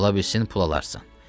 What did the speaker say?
Ola bilsin pul alarsan.